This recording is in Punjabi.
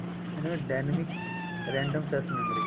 ਇਹਨੂੰ dynamic random access memory